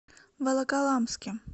волоколамске